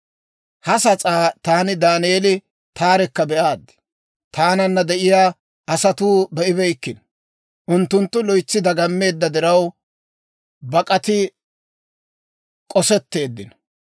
Ha sas'aa taani Daaneeli taarekka be'aad. Taananna de'iyaa asatuu be'ibeykkino; unttunttu loytsi dagammeedda diraw, bak'ati k'osetteeddino.